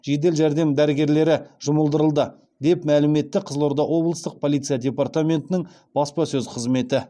жедел жәрдем дәрігерлері жұмылдырылды деп мәлім етті қызылорда облыстық полиция департаментінің баспасөз қызметі